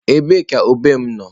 Ebee ka ube m nọ?